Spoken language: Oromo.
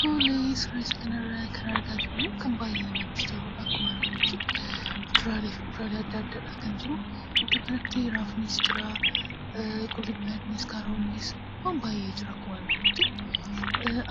Suuraa isa kanarraa kan argaa jirrummoo kan baay'ee namatti toludha akkuma arginutti. Muduraalee fi kuduraalee adda addaadha kan jiru. Iddoo kanatti raafuunis jira, qullubbii adiinis, kaarotnis jira akkuma arginutti